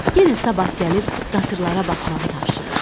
Yenə sabah gəlib qatırlara baxmağı tapşırır.